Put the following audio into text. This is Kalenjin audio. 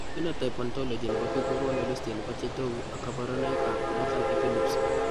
Phenotype ontology nebo biik kokonu listit neisibu nebo chetogu ak kaborunoik ab nothern epilepsy